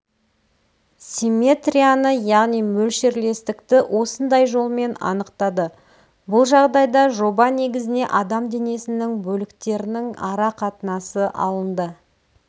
симметрияны яғни мөлшерлестікті осындай жолмен анықтады бұл жағдайда жоба негізіне адам денесінің бөліктерінің ара қатынасы алынды